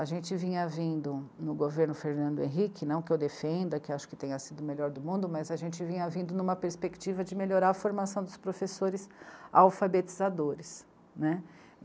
A gente vinha vindo no governo Fernando Henrique, não que eu defenda, que acho que tenha sido o melhor do mundo, mas a gente vinha vindo numa perspectiva de melhorar a formação dos professores alfabetizadores, né.